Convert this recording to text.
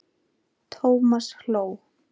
Thomas hló.